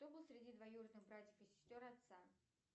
кто был среди двоюродных братьев и сестер отца